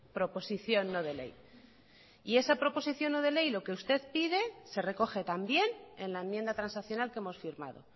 proposición no de ley y esa proposición no de ley lo que usted pide se recoge también en la enmienda transaccional que hemos firmado